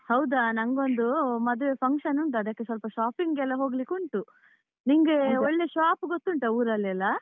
ಹೌದ ನಂಗೊಂದು ಮದುವೆ function ಉಂಟು, ಅದಕ್ಕೆ ಸ್ವಲ್ಪ shopping ಗೆಲ್ಲ ಹೋಗ್ಲಿಕ್ಕುಂಟು, ನಿಂಗೆ ಒಳ್ಳೆ shop ಗೊತ್ತುಂಟಾ ಊರಲೆಲ್ಲಾ?